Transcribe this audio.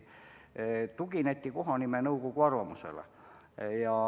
Tugineti kohanimenõukogu arvamusele.